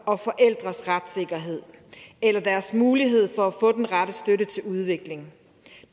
og forældres retssikkerhed eller deres mulighed for at få den rette støtte til udvikling